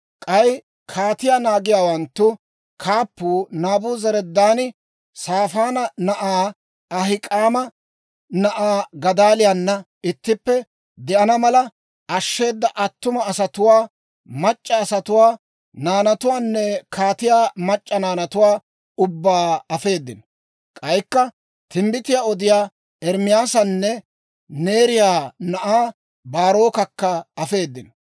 K'ay kaatiyaa naagiyaawanttu kaappuu Naabuzaradaani Saafaana na'aa, Ahik'aama na'aa Gadaaliyaana ittippe de'ana mala ashsheeda attuma asatuwaa, mac'c'a asatuwaa, naanatuwaanne kaatiyaa mac'c'a naanatuwaa ubbaa afeedino. K'aykka timbbitiyaa odiyaa Ermaasanne Neeriyaa na'aa Baarokakka afeedino.